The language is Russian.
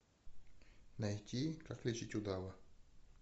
найти как лечить удава